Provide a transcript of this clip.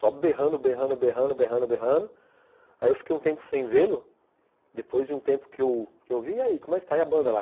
Só berrando, berrando, berrando, berrando, berrando, aí eu fiquei um tempo sem vê-lo, depois de um tempo que eu vi, e aí, como é que está aí a banda lá?